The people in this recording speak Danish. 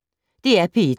DR P1